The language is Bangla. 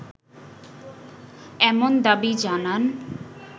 এমন দাবি জানান